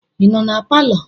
Ị nọ na palọ?